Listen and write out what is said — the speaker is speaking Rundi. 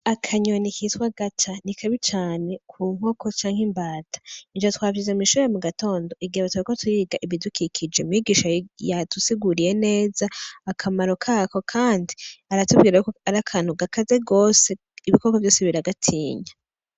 Akanyoni kitwa agaca, ni kabi cane ku nkoko canke imbata. Ivyo twavyize mw'ishure mu gatondo, igihe turiko twiga ibidukikije umwigisha yadusiguriye neza akamaro kako kandi aratubwira ko ari akantu gakaze gose, ibikoko vyose biragatinya.